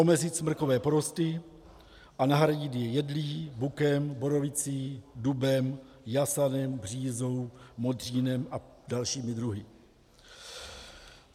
Omezit smrkové porosty a nahradit je jedlí, bukem, borovicí, dubem, jasanem, břízou, modřínem a dalšími druhy.